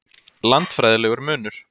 Landfræðilegur munur